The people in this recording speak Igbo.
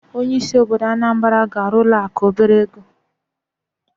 Onye isi obodo Anambra ga arụ ụlọ akụ obere ego.